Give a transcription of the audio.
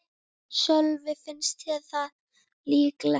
Sölvi: Finnst þér það líklegt?